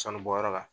Sanubɔyɔrɔ la